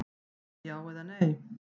Já eða nei?